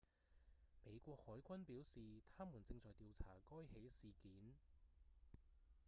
美國海軍表示他們正在調查該起事件